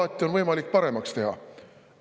Alati on võimalik paremaks teha.